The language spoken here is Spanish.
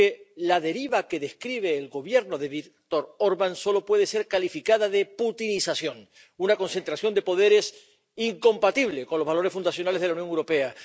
Porque la deriva que describe el Gobierno de Viktor Orbán solo puede ser calificada de putinización, una concentración de poderes incompatible con los valores fundacionales de la Unión Europea.